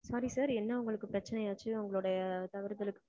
sorry sir என்ன உங்களுக்கு பிரச்சனை ஆச்சு உங்களுடைய தவறுதலுக்கு